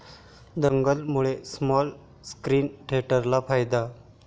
दंगल'मुळे small screen थिएटर्सला फायदा